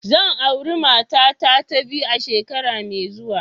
Zan auri matata ta biyu a shekara mai zuwa.